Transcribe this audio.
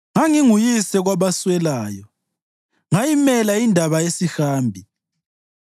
Nganginguyise kwabaswelayo; ngayimela indaba yesihambi.